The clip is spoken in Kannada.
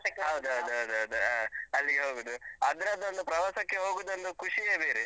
ಹೌದೌದು ಹೌದೌದು. ಹ, ಅಲ್ಲಿಗೆ ಹೋಗುದು. ಅದ್ರದ್ದೊಂದು ಪ್ರವಾಸಕ್ಕೆ ಹೋಗುದೊಂದು ಖುಷಿಯೇ ಬೇರೆ.